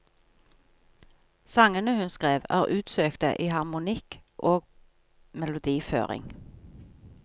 Sangene hun skrev, er utsøkte i harmonikk og melodiføring.